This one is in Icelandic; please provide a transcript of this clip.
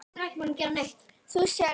Þú sérð ekki neitt!